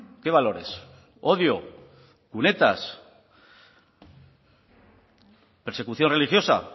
qué valores odio cunetas persecución religiosa